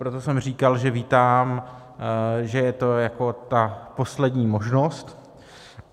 Proto jsem říkal, že vítám, že je to jako ta poslední možnost.